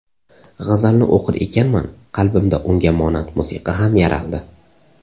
G‘azalni o‘qir ekanman, qalbimda unga monand musiqa ham yaraldi.